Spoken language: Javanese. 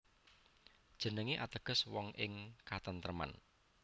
Jenengé ateges wong ing katentreman